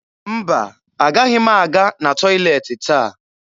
Mba, agaghị m aga na tọyịleetị taa